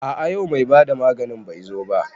A a yau mai bada maganin bai zo ba.